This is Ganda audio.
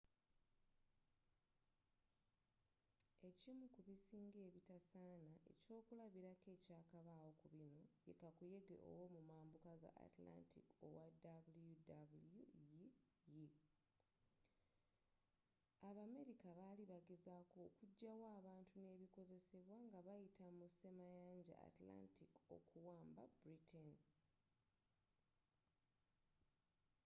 ekimu ku bisinga ebitasaana ekyokulabilako ekyakabaawo ku binno ye kakuyege w’omumabuka ga atlantic owa wwii.abameriaca baali bagezaako okujayo abantu n’ebikozesebwa nga bayita mu semayanja atlantic okuamba britain